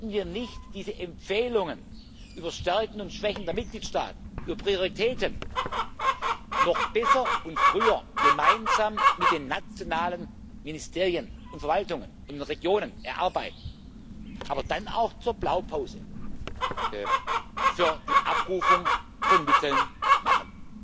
Sollten wir nicht diese Empfehlungen über Stärken und Schwächen der Mitgliedstaaten, über Prioritäten, noch besser und früher gemeinsam mit den nationalen Ministerien und Verwaltungen und Regionen erarbeiten, aber dann auch zur Blaupause für die Abrufung von Mitteln